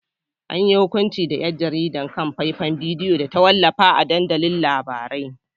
An yi hukunci da ‘yar jaridar kan faifan bidiyo da ta wallafa a dandalin labarai.